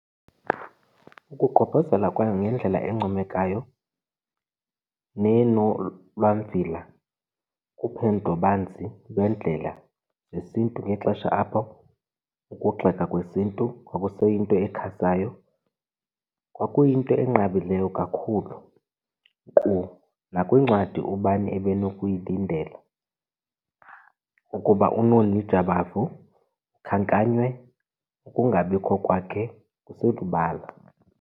Ukugqobhozela kwayo ngendlela encomekayo nenolwamvila kuphendlo-banzi lweendlela zesiNtu ngexesha apho ukugxekwa kwesiNtu kwakuseyinto esakhasayo kwakuyinto enqabileyo kakhulu. Nkqu nakwincwadi ubani ebenokulindela ukuba uNoni Jabavu akhankanywe, ukungabikho kwakhe kuselubala.